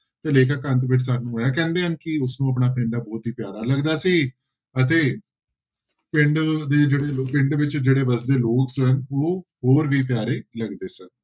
ਤੇ ਲੇਖਕ ਅੰਤ ਵਿੱਚ ਸਾਨੂੰ ਇਹ ਕਹਿੰਦੇ ਹਨ ਕਿ ਉਸਨੂੰ ਆਪਣਾ ਪਿੰਡ ਬਹੁਤ ਹੀ ਪਿਆਰਾ ਲੱਗਦਾ ਸੀ ਅਤੇ ਪਿੰਡ ਦੇ ਜਿਹੜੇ ਲੋ~ ਪਿੰਡ ਵਿੱਚ ਜਿਹੜੇ ਵਸਦੇ ਲੋਕ ਜੋ ਹੈ ਉਹ ਹੋਰ ਵੀ ਪਿਆਰੇ ਲੱਗਦੇ ਸਨ।